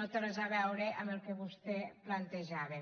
no té res a veure amb el que vostè plantejava